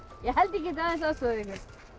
ég held ég geti aðeins aðstoðað ykkur